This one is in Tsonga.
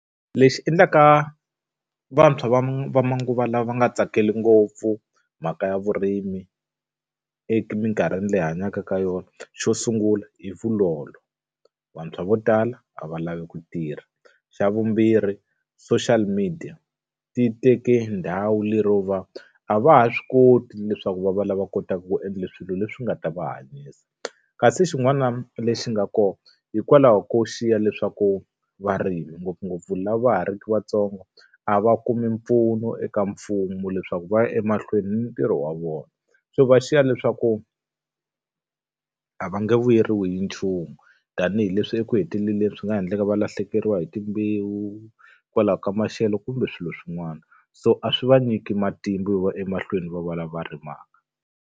Lexi endlaka vantshwa va va manguva lawa va nga tsakeli ngopfu mhaka ya vurimi emikarhini leyi hi hanyaka ka yona xo sungula hi vulolo. Vantshwa vo tala a va lavi ku tirha. Xa vumbirhi social media, ti teke ndhawu lero va a va ha swi koti ni leswaku va va lava kotaka ku endla swilo leswi nga ta va hanyisa. Kasi xin'wana lexi nga kona hikwalaho ko xiya leswaku varimi ngopfungopfu lava va ha ri ku vantsongo, a va kumi mpfuno eka mfumo leswaku va ya emahlweni na ntirho wa vona. So va xiya leswaku a va nge vuyeriwi hi nchumu, tanihileswi eku heteleleni swi nga endleka va lahlekeriwa hi timbewu hikwalaho ka maxelo kumbe swilo swin'wana. So a swi va nyiki matimba yo va ya emahlweni va va lava rimaka.